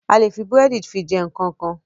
A lè fi búrẹ̀dì jẹ fi jẹ nkankan.